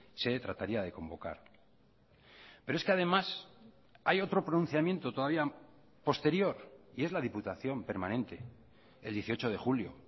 se trataría de convocar pero es que además hay otro pronunciamiento todavía posterior y es la diputación permanente el dieciocho de julio